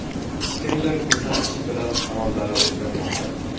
Kimdir ko‘rsatishi bilan qarorlari o‘zgarmoqda.